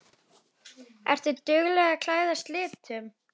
Ertu dugleg að klæðast litum?